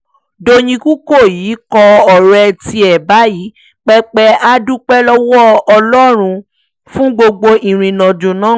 dọ́yìn kúkọ́yí kọ ọ̀rọ̀ tiẹ̀ báyìí pé pé a dúpẹ́ lọ́wọ́ ọlọ́run fún gbogbo ìrìnàjò náà